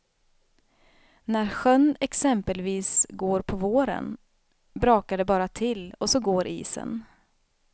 När sjön exempelvis går på våren brakar det bara till och så går isen.